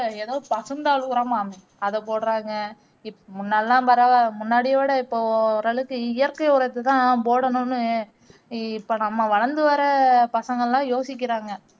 ஏதோ பசுந்தாழ் உரமாமே அத போடுறாங்க இப்முன்னாடியெல்லாம் பரவா முன்னாடிய விட இப்போ ஓரளவுக்கு இயற்கை உரத்தைதான் போடணும்னு இ இப்போ நம்ம வளர்ந்து வர்ற பசங்கல்லாம் யோசிக்கிறாங்க